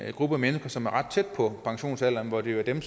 gruppe af mennesker som er ret tæt på pensionsalderen og det er jo